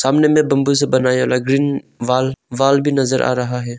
सामने में बंबू से बनाया हुआ ग्रीन वाल वाल भी नजर आ रहा है।